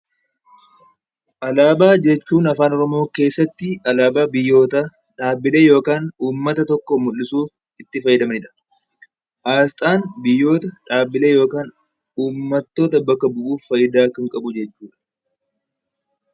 Alaabaa jechuun afaan oromoo keessatti alaabaa biyyoota dhaabbilee yookaan uummata tokko mul'isuuf itti fayyadamanidha. Asxaan biyyoota dhaabbilee yookaan uummatoota bakka bu'uuf fayidaa kan qabu jechuudha